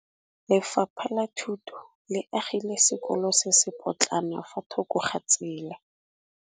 Lefapha la Thuto le agile sekôlô se se pôtlana fa thoko ga tsela.